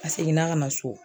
A seginna ka na so